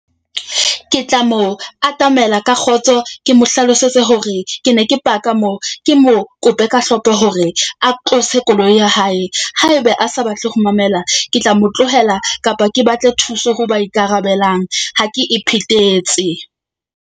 Ke tla mo atamela ka kgotso. Ke mo hlalosetse hore ke ne ke park-a moo. Ke mo kope ka hlompho hore a tlose koloi ya hae. Haebe a sa batle ho mamela, ke tla mo tlohela kapa ke batle thuso ho ba ikarabelang. Ha ke iphethetse.